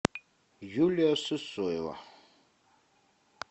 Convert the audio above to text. юлия сысоева